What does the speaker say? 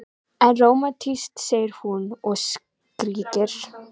En rómantískt, segir hún og skríkir.